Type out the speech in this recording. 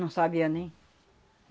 Não sabia nem.